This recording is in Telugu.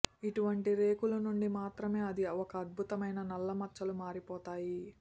ఇటువంటి రేకులు నుండి మాత్రమే అది ఒక అద్భుతమైన నల్ల మచ్చలు మారిపోతాయి